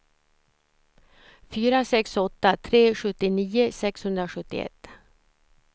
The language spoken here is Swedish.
fyra sex åtta tre sjuttionio sexhundrasjuttioett